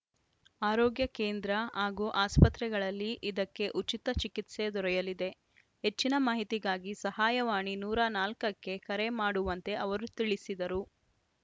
ಆರೋಗ್ಯ ಕೇಂದ್ರ ಹಾಗೂ ಆಸ್ಪತ್ರೆಗಳಲ್ಲಿ ಇದಕ್ಕೆ ಉಚಿತ ಚಿಕಿತ್ಸೆ ದೊರೆಯಲಿದೆ ಹೆಚ್ಚಿನ ಮಾಹಿತಿಗಾಗಿ ಸಹಾಯವಾಣಿ ನೂರ ನಾಲ್ಕ ಕ್ಕೆ ಕರೆ ಮಾಡುವಂತೆ ಅವರು ತಿಳಿಸಿದರು